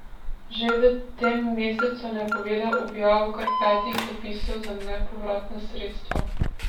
Že v tem mesecu je napovedal objavo kar petih razpisov za nepovratna sredstva.